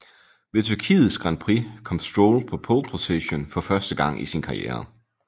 Ved Tyrkiets Grand Prix kom Stroll på pole position for første gang i sin karriere